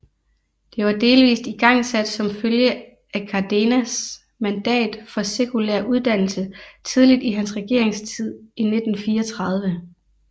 Det var delvist igangsat som følge af Cárdenas mandat for sekulær uddannelse tidligt i hans regeringstid i 1934